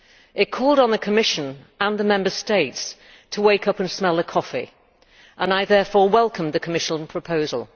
It called on the Commission and the Member States to wake up and smell the coffee, and I therefore welcome the Commission proposal.